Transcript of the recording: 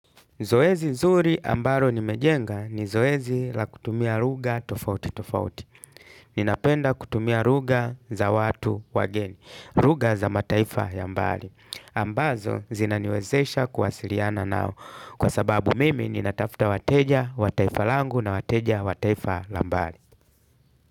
Zoezi nzuri ambalo nimejenga ni zoezi la kutumia lugha tofauti tofauti. Ninapenda kutumia lugha za watu wageni. Lugha za mataifa ya mbali. Ambazo zinaniwezesha kuwasiliana nao. Kwa sababu mimi nina tafuta wateja wa taifa langu na wateja wa taifa la mbali.